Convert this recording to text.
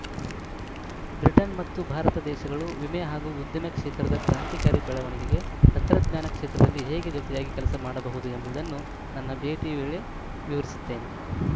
Britain ಮತ್ತು ಭಾರತ ದೇಶಗಳು ವಿಮೆ ಹಾಗೂ ಉದ್ಯಮ ಕ್ಷೇತ್ರದ ಕ್ರಾಂತಿಕಾರಿ ಬೆಳವಣಿಗೆಗೆ ತಂತ್ರಜ್ಞಾನ ಕ್ಷೇತ್ರದಲ್ಲಿ ಹೇಗೆ ಜೊತೆಯಾಗಿ ಕೆಲಸ ಮಾಡಬಹುದು ಎಂಬದನ್ನು ನನ್ನ ಭೇಟಿ ವೇಳೆ ವಿವರಿಸುತ್ತೇನೆ